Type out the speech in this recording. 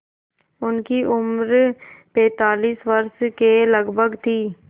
उनकी उम्र पैंतालीस वर्ष के लगभग थी